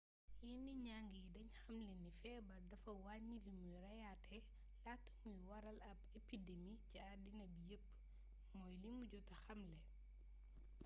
yenn njang yi dañ xamle ni feebar dafa wàññi limuy reyaate laata muy waral ab epidemi ci addina bi yépp mooy limu jota xamle